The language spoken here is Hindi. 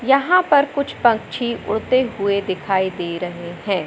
यहां पर कुछ पक्षी उड़ते हुए दिखाई दे रहे हैं।